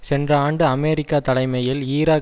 சென்ற ஆண்டு அமெரிக்கா தலைமையில் ஈராக்